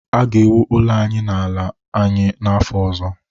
a ga-ewu ụlọ anyị n’ala anyị n’afọ ọzọ